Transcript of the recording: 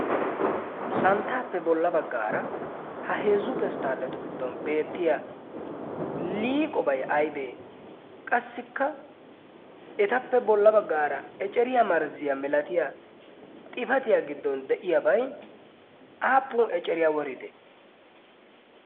santtaappe bolla baggaara ha heezzu pesttaalatu giddon beettiya liiqobai aibee qassikka etappe bolla baggaara eceriyaa marzziya milatiya xifatiyaa giddon de'iyaabai aappun eceriyaa woride?